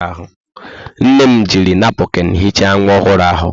Nne m jiri napụkịn hichaa nwa ọhụrụ ahụ.